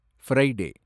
Friday